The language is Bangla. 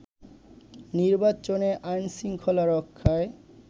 নির্বাচনে আইন-শৃঙ্খলা রক্ষায়